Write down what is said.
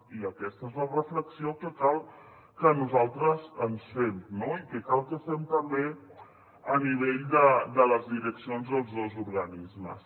i aquesta és la reflexió que cal que nosaltres ens fem no i que cal que fem també a nivell de les direccions dels dos organismes